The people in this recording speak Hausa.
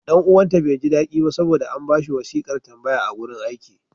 Ɗan uwanta bai ji daɗi ba saboda an ba shi wasiƙar tambaya a wurin aiki.